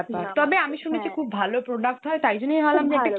শুনেছি খুব ভালো product হয় তাই জন্যই ভাবলাম কিনে দেখি।